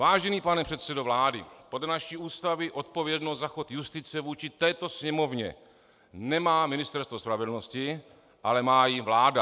Vážený pane předsedo vlády, podle naší Ústavy odpovědnost za chod justice vůči této Sněmovně nemá Ministerstvo spravedlnosti, ale má ji vláda.